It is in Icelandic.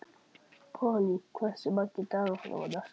Polly, hversu margir dagar fram að næsta fríi?